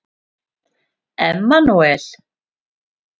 Emanúel